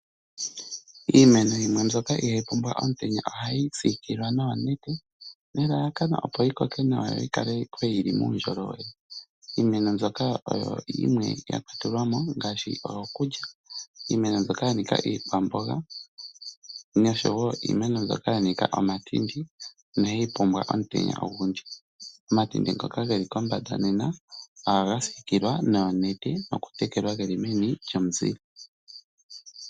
Iimeno yimwe mbyoka ihaayi pumbwa omutenya oha yi siikilwa noonete, nelalakano opo yi koke nawa yo yikale yili muundjolowele. iimeno mbyoka yakwatelelwamo ongaashi mbyoka yanika iikwamboga noshowo iimeno mbyoka yanika omatindi inayi pumbwa omutenya ogundji. Omatindi ngoka geli kombanda nena ohaga siikilwa nawa noonete nokutekelwa, geli meni lyomuzile.